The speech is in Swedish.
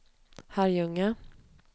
Herrljunga